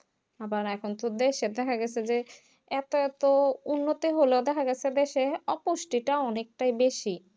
আবার একাঙ্কস দেশে দেখা গেছে যে এত এত উন্নত হলেও দেখা যাচ্ছে দেশে অপুষ্টিটা অনেকটাই বেশি